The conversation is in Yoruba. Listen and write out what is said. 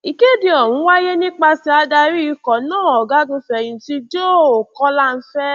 ìkéde ọhún wáyé nípasẹ adarí ikọ náà ọgágunfẹyìntì joe kọńláfẹ